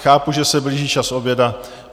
Chápu, že se blíží čas oběda.